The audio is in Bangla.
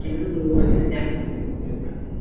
কেন বলবো রে? দেখ দেখ দেখ ভাই